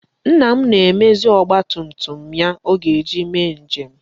Nna m na-emezi ọgba tum tum ya ọ ga-eji mee njem.